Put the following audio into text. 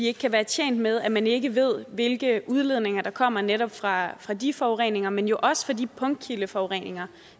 ikke være tjent med at man ikke ved hvilke udlændinge der kommer netop fra fra de forureninger men jo også fra de punktkildeforureninger